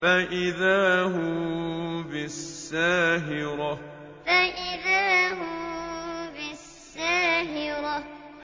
فَإِذَا هُم بِالسَّاهِرَةِ فَإِذَا هُم بِالسَّاهِرَةِ